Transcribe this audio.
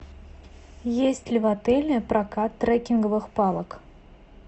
есть ли в отеле прокат трекинговых палок